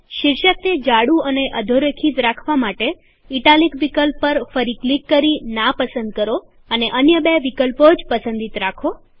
શીર્ષક ને જાડું અને અધોરેખિત રાખવા માટે ઇટાલિક વિકલ્પ પર ફરી ક્લિક કરી નાપસંદ કરો અને અન્ય બે જ વિકલ્પો પસંદિત રાખો